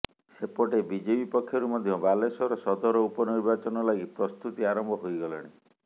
ସେପଟେ ବିଜେପି ପକ୍ଷରୁ ମଧ୍ୟ ବାଲେଶ୍ୱର ସଦର ଉପନିର୍ବାଚନ ଲାଗି ପ୍ରସ୍ତୁତି ଆରମ୍ଭ ହୋଇଗଲାଣି